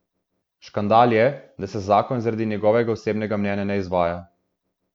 Škandal je, da se zakon zaradi njegovega osebnega mnenja ne izvaja.